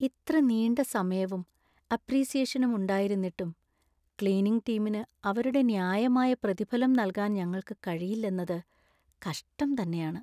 ഇത്ര നീണ്ട സമയവും അപ്പ്രീസിയേഷനും ഉണ്ടായിരുന്നിട്ടും , ക്ലീനിംഗ് ടീമിന് അവരുടെ ന്യായമായ പ്രതിഫലം നൽകാൻ ഞങ്ങൾക്ക് കഴിയില്ലെന്നത് കഷ്ടം തന്നെയാണ്.